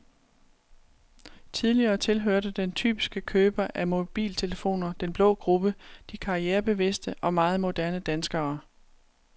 Tidligere tilhørte den typiske køber af mobiltelefoner den blå gruppe, de karrierebevidste og meget moderne danskere.